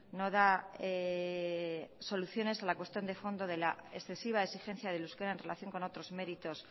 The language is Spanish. no da soluciones a la cuestión de fondo de la excesiva exigencia del euskera en relación con otros méritos